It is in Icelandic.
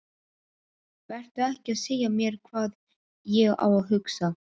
Vertu ekki að segja mér hvað ég á að hugsa!